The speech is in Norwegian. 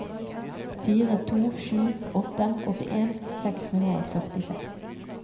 fire to sju åtte åttien seks hundre og førtiseks